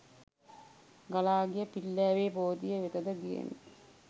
ගලා ගිය පිල්ලෑවේ බෝධිය වෙතද ගියෙමි.